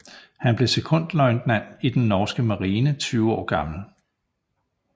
Han blev sekondløjtnant i den norske marine 20 år gammel